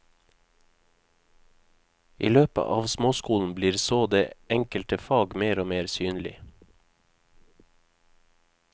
I løpet av småskolen blir så det enkelte fag mer og mer synlig.